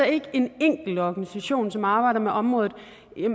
ikke en enkelt organisation som arbejder med området